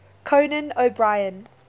conan o brien